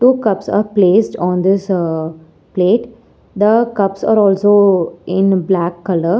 two cups are placed on this ah plate the cups are also in black colour.